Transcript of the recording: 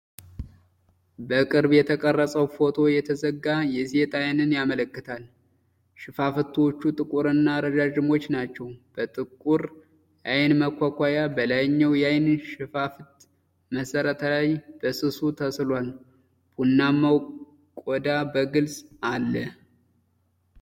በቅርብ የተቀረጸው ፎቶ የተዘጋ የሴት ዓይንን ያመለክታል። ሽፋሽፍቶቹ ጥቁርና ረዣዥም ናቸው፤ በጥቁር አይን መኳኳያ በላይኛው የዐይን ሽፋሽፍት መሠረት ላይ በስሱ ተስሏል። ቡናማው ቆዳ በግልጽ አለ።